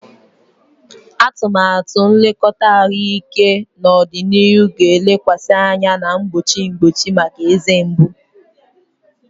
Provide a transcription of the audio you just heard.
Atụmatụ nlekọta ahụike n'ọdịnihu ga-elekwasị anya na mgbochi mgbochi maka eze mgbu.